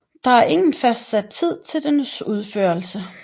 Der er ingen fastsat tid til dens udførelse